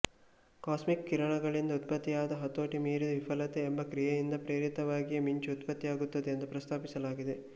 cosmic ಕಿರಣಗಳಿಂದ ಉತ್ಪತ್ತಿಯಾದ ಹತೋಟಿ ಮೀರಿದ ವಿಫಲತೆ ಎಂಬ ಕ್ರಿಯೆಯಿಂದ ಪ್ರೇರೇಪಿತವಾಗಿಯೇ ಮಿಂಚು ಉತ್ಪತ್ತಿಯಾಗುತ್ತದೆ ಎಂದು ಪ್ರಸ್ತಾಪಿಸಲಾಗಿದೆ